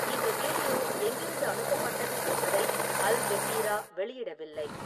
இந்த வீடியோ எங்கிருந்து அனுப்பப்பட்டது என்பதை அல்-ஜஸீரா வெளியிடவில்லை.